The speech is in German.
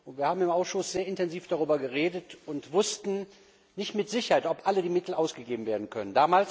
Wir haben im Ausschuss sehr intensiv darüber geredet und wussten nicht mit Sicherheit, ob alle Mittel ausgegeben werden können.